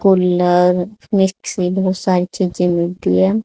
Cooler mixie बहुत सारी चीजें मिलती हैं।